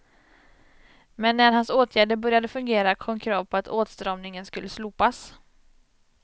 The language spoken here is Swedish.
Men när hans åtgärder började fungera kom krav på att åtstramningen skulle slopas.